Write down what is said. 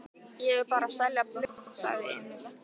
Ég er bara að selja blöð, sagði Emil.